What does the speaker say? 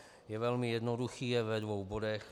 Je velmi jednoduchý, je ve dvou bodech.